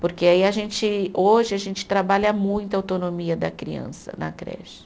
Porque aí a gente, hoje a gente trabalha muito a autonomia da criança na creche.